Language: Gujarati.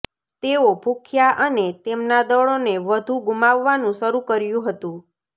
તેઓ ભૂખ્યા અને તેમના દળોને વધુ ગુમાવવાનું શરૂ કર્યું હતું